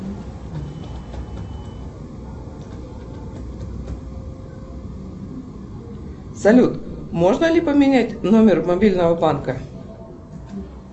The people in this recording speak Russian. салют можно ли поменять номер мобильного банка